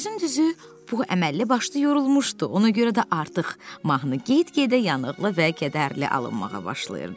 Sözün düzü, bu əməlli başlı yorulmuşdu, ona görə də artıq mahnı get-gedə yanıqlı və kədərli alınmağa başlayırdı.